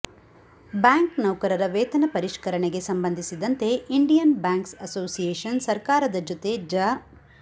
bank ನೌಕರರ ವೇತನ ಪರಿಷ್ಕರಣೆಗೆ ಸಂಬಂಧಿಸಿದಂತೆ ಇಂಡಿಯನ್ ಬ್ಯಾಂಕ್ಸ್ ಅಸೋಸಿಯೇಶನ್ ಸರ್ಕಾರದ ಜತೆ ಜ